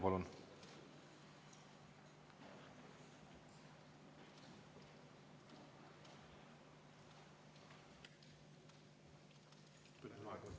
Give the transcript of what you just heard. Palun!